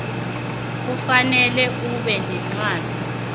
kufanele ube nencwadi